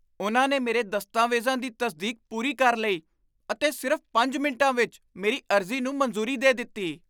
ਉਨ੍ਹਾਂ ਨੇ ਮੇਰੇ ਦਸਤਾਵੇਜ਼ਾਂ ਦੀ ਤਸਦੀਕ ਪੂਰੀ ਕਰ ਲਈ ਅਤੇ ਸਿਰਫ਼ ਪੰਜ ਮਿੰਟਾਂ ਵਿੱਚ ਮੇਰੀ ਅਰਜ਼ੀ ਨੂੰ ਮਨਜ਼ੂਰੀ ਦੇ ਦਿੱਤੀ!